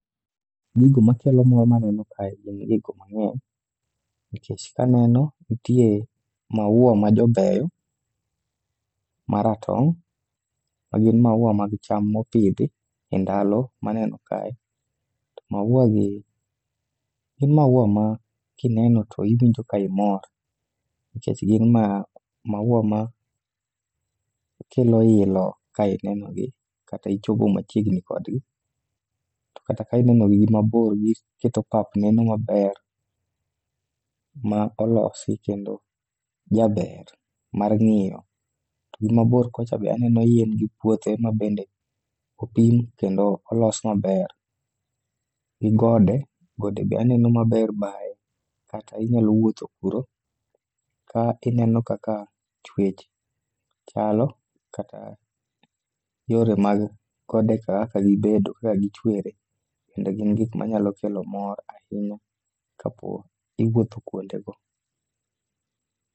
Gigo makelo mor naneno kae gin gigo mang'eny nikech kaneno, nitie maua majobeyo, maratong' magin maua mag cham ma opidhi e ndalo maneno kae. Maua gi gin maua ma kineno to iwinjo ka imor, nikech gin maua makelo ilo ka ineno gi kata ichopo machiegni kodgi, to kata ka ineno gi gimabor, giketo pap neno maber, ma olosi kendo jaber mar ng'iyo. To gimabor kocha be aneno yien gi puothe mabende opim kendo olos maber, gi gode. Gode be aneno maber baye kata inyalo wuotho kuro ka ineno kaka chwech chalo kata yore mag godeka kaka gibedo kaka gichwere. Kendo gin gik manyalo kelo mor ahinya kapo ni iwuotho kwondego.